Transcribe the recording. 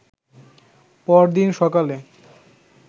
পরদিন সকালে